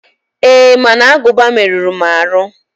Ee, mana aguba meruru m aru.